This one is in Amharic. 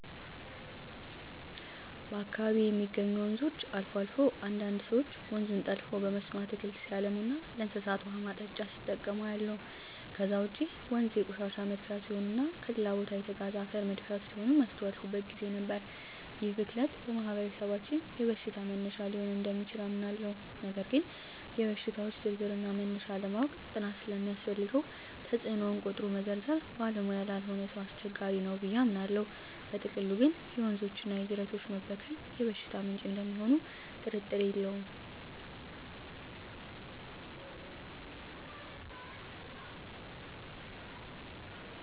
በአካባቢየ የሚገኙ ወንዞች አልፎ አልፎ አንዳንድ ሰወች ወንዙን ጠልፈው በመስኖ አትክልት ሲያለሙና ለእንስሳት ውሃ ማጠጫ ሲጠቀሙ አያለሁ። ከዛ ውጭ ወንዞ የቆሻሻ መድፊያ ሲሆኑና ከሌላ ቦታ የተጋዘ አፈር መድፊያ ሲሆኑም ያስተዋልኩበት ግዜ ነበር። ይህ ብክለት በማህበረሰባችን የበሽታ መነሻ ሊሆን እደሚችል አምናለሁ ነገር ግን የሽታወች ዝርዝርና መነሻ ለማወቅ ጥናት ስለሚያስፈልገው ተጽኖውን ቆጥሮ መዘርዘር ባለሙያ ላልሆነ ሰው አስቸጋሪ ነው ብየ አምናለው። በጥቅሉ ግን የወንዞችና የጅረቶች መበከል የበሽታ ምንጭ እደሚሆኑ ጥርጥር የለውም።